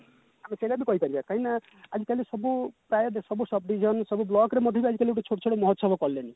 ଆମେ ସେଟା ବି କହିପାରିବା କାହିଁକି ନା ଆଜି କାଲି ସବୁ sub division ସବୁ block ରେ ମଧ୍ୟ ଆଜି କାଲି ଗୋଟେ ଛୋଟ ଛୋଟ ମହୋଚ୍ଚବ କଲେଣି